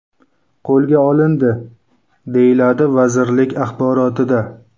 qo‘lga olindi”, deyiladi vazirlik axborotida.